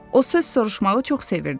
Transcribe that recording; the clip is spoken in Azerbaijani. O söz soruşmağı çox sevirdi.